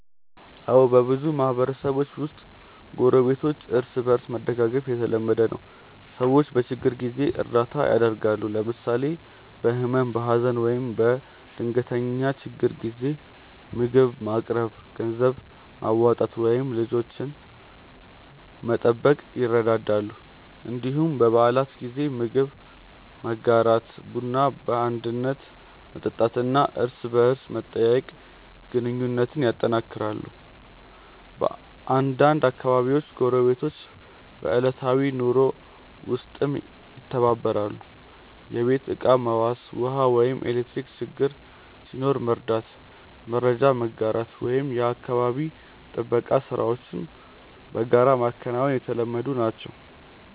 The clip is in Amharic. አዎ፣ በብዙ ማህበረሰቦች ውስጥ ጎረቤቶች እርስ በእርስ መደጋገፍ የተለመደ ነው። ሰዎች በችግር ጊዜ እርዳታ ያደርጋሉ፣ ለምሳሌ በህመም፣ በሀዘን ወይም በድንገተኛ ችግር ጊዜ ምግብ ማቅረብ፣ ገንዘብ ማዋጣት ወይም ልጆችን መጠበቅ ይረዳዳሉ። እንዲሁም በበዓላት ጊዜ ምግብ መጋራት፣ ቡና በአንድነት መጠጣት እና እርስ በርስ መጠያየቅ ግንኙነቱን ያጠናክራል። በአንዳንድ አካባቢዎች ጎረቤቶች በዕለታዊ ኑሮ ውስጥም ይተባበራሉ፤ የቤት ዕቃ መዋስ፣ ውሃ ወይም ኤሌክትሪክ ችግር ሲኖር መርዳት፣ መረጃ መጋራት ወይም የአካባቢ ጥበቃ ሥራዎችን በጋራ ማከናወን የተለመዱ ናቸው።